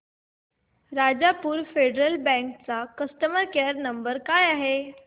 Rajapur Federal Bank चा customer care number काय आहे